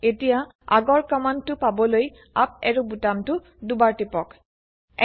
এতিয়া আগৰ কমান্ড টো পাবলৈ আপ এৰো বুটামটো দুবাৰ টিপক160